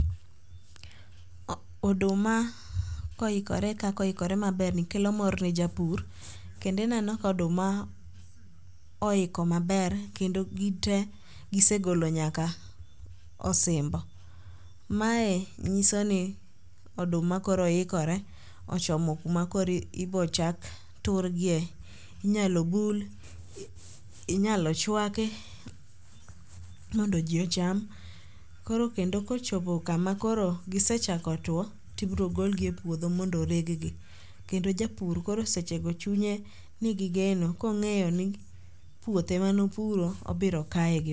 Oduma koikore kaka oikore maberni kelo mor japur, kendo ineno koduma oiko maber ,kendo gite gisegolo nyaka osimbo. Mae nyisoni oduma koro ikore ochomo kuma koro ibochak turigie. Inyalo bul, inyalo chwaki mondo ji ocham. Koro kendo kochopo kama koro gisechako tuwo, tibiro golgi e puodho mondo oreggi. Kendo japur koro sechego chunye nigi geno kong'eyo ni puothe manopuro obiro kayogi.